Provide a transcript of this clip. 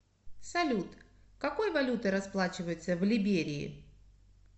салют какой валютой расплачиваются в либерии